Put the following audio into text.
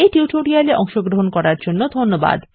এই টিউটোরিয়াল এ অংশগ্রহন করার জন্য ধন্যবাদ